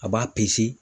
A b'a